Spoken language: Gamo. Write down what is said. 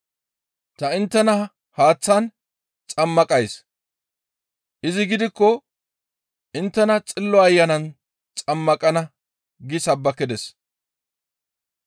Tani inttena haaththan xammaqays; izi gidikko inttena Xillo Ayanan xammaqana» gi sabbakides.